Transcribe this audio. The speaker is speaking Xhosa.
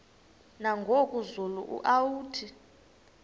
nangoku zulu uauthi